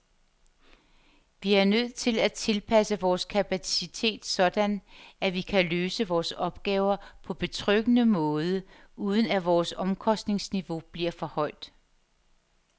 Vi er nødt til at tilpasse vores kapacitet sådan, at vi kan løse vores opgaver på betryggende måde, uden at vores omkostningsniveau bliver for højt.